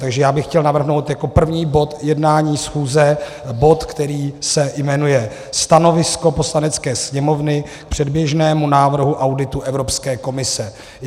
Takže já bych chtěl navrhnout jako první bod jednání schůze bod, který se jmenuje Stanovisko Poslanecké sněmovny k předběžnému návrhu auditu Evropské komise.